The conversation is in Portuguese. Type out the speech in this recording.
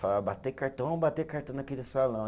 Falava, bater cartão, vamos bater cartão naquele salão.